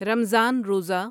رمضان روزہ